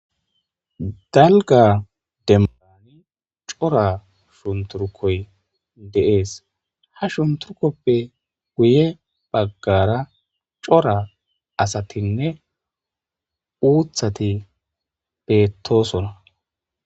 Dalga dembaani cora shunturkoy deees ha shunturkoppe guye baggara cora asatinne uuthati beettosona.